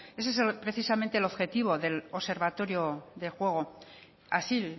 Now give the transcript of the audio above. ese es precisamente objetivo del observatorio del juego así